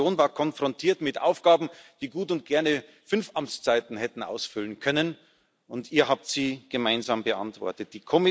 Deine Kommission war mit Aufgaben konfrontiert, die gut und gerne fünf Amtszeiten hätten ausfüllen können, und ihr habt sie gemeinsam beantwortet.